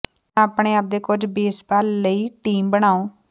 ਜਾਂ ਆਪਣੇ ਆਪ ਦੇ ਕੁਝ ਬੇਸਬਾਲ ਲਈ ਟੀਮ ਬਣਾਉ